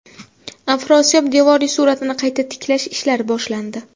Afrosiyob devoriy suratini qayta tiklash ishlari boshlandi.